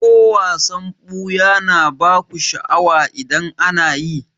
Ko wasan ɓuya na baku sha'awa idan ana yi?